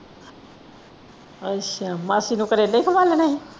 ਅੱਛਾ ਮਾਸੀ ਨੂੰ ਕਰੇਲੇ ਖਵਾਲਣੇ ਹੀ।